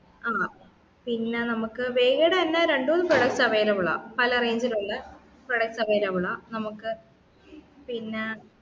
ആഹ് പിന്നെ നമ്മക് വേഗേടെ തന്നെ രണ്ടുന്ന് products available ആ പല range ൽ ഉള്ളെ products available ആ നമുക്ക്